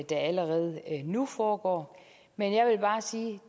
der allerede nu foregår men